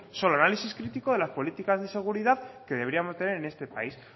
solo análisis crítico de las políticas de seguridad que deberíamos de tener en este país